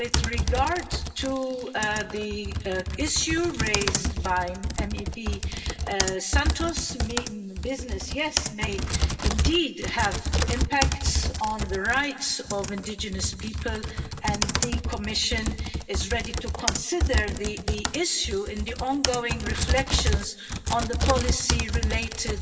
With regard to the issue raised by Ms Santos, business, yes, may indeed have impacts on the rights of indigenous people, and the Commission is ready to consider the issue in the ongoing reflections on the policy related